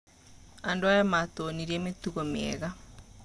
Andũ aya matwonirie mĩtugo mĩega.